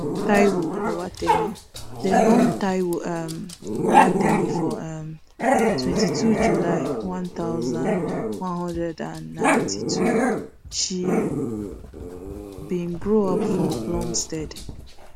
taiwo owatemi dem born taiwo um owatemi for um twenty-two july one thousand, nine hundred and ninety-two she bin grow up for plumstead